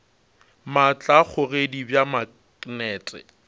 maatla a kgogedi bja maknete